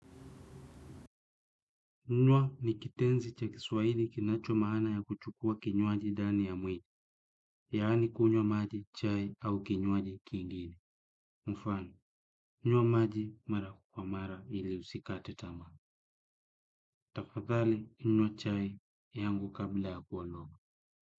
Nwa ni kitenzi cha kiswaili kinacho maana ya kuchukua kinywaji dani ya mwili, yaani kunywa maji, chai au kinywaji kingine. Mfano, kunywa maji mara kwa mara ili usikate tama. Tafadhali, kunywa chai yangu kabla ya kuondoka.